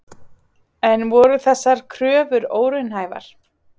En voru þessar kröfur óraunhæfar?